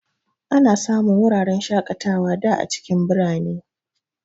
Ana samun wuraren shakatawa da a cikin birane.